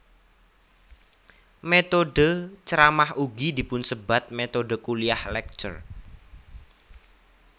Métodhe ceramah ugi dipunsebat métodhe kuliah lecture